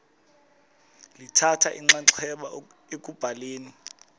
lithatha inxaxheba ekubhaleni